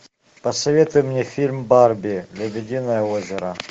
посоветуй мне фильм барби лебединое озеро